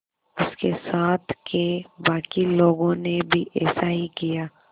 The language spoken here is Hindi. उसके साथ के बाकी लोगों ने भी ऐसा ही किया